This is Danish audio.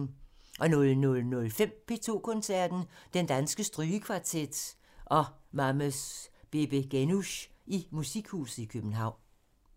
00:05: P2 Koncerten – Den Danske Strygekvartet og Mames Babegenush i Musikhuset København *